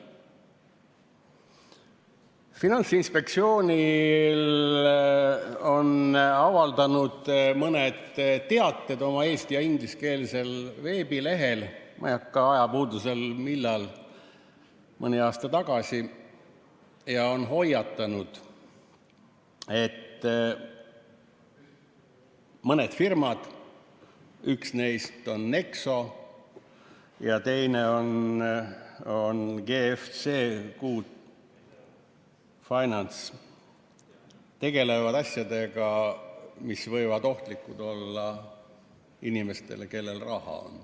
Finantsinspektsioon on avaldanud mõned teated oma eesti- ja ingliskeelsel veebilehel – see oli mõni aasta tagasi – ja hoiatanud, et mõned firmad, üks neist on Nexo ja teine on GFC Good Finance, tegelevad asjadega, mis võivad olla ohtlikud inimestele, kellel on raha.